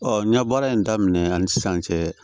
n ye baara in daminɛ ani sisan cɛ